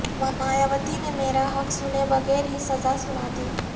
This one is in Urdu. مایاوتی نے میرا حق سنے بغیر ہی سزا سنا دی